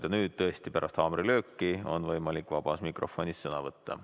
Ja nüüd, pärast haamrilööki on võimalik vabas mikrofonis sõna võtta.